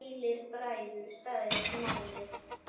Sælir bræður- sagði Smári.